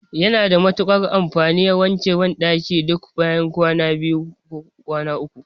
Yana da matuƙar amfani a wanke banɗaki duk bayan kwana biyu ko kwana uku.